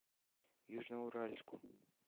южноуральску